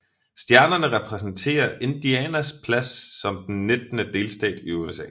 Stjernerne repræsenterer Indianas plads som den nittende delstat i USA